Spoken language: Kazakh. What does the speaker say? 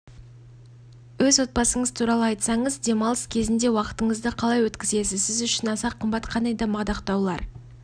өртке қарсы қызмет органдарындағы мінсіз қызметі үшін дәрежелі өртке қарсы қызмет органдарындағы мінсіз қызметі үшін дәрежелі